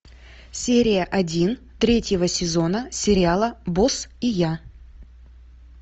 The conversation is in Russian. серия один третьего сезона сериала босс и я